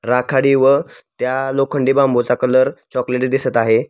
राखाडी व त्या लोखंडी बांबूचा कलर चॉकलेटी दिसत आहे.